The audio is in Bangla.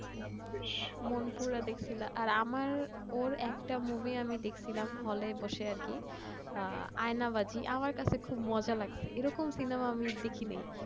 মন পুরা দেখলা তো আমার ওর একটা movie দেখসিলাম hall এ বসে আর কি আয়না বাঁধি আমার কাছে খুব মজা লাগছে এরকম সিনেমা দেখিনি